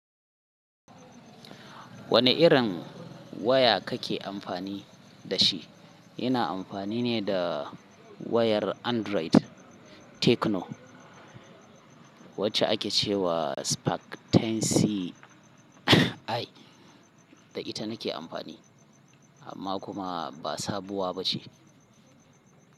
Wane irin waya kake amfani da shi? Ina amfani ne da wayar Android Tecno wacce ake ce wa Spark 10C. Ai, da ita nake amfani, amma kuma ba sabuwa ba ce.